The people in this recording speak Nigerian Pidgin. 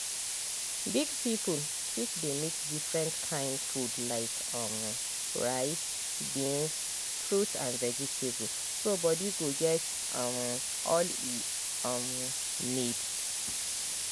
big people fit dey mix different kain food—like um rice beans fruit and veg—so body go get um all e um need.